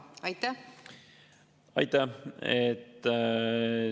Aitäh!